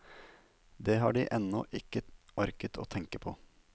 Det har de ennå ikke orket å tenke på.